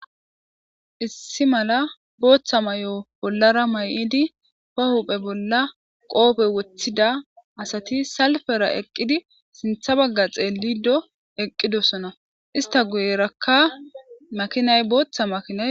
Issi mala booththa may7o bollara may7idi ba huphe bolla qoopey woththida asati salfera eqqidi sintha bagga xeellido eqqidosona ista guyerakka makinay booththa makinay.